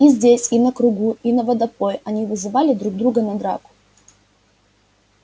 и здесь и на кругу и на водопое они вызывали друг друга на драку